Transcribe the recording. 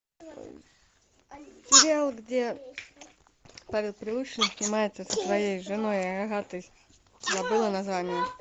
сериал где павел прилучный снимается со своей женой агатой забыла название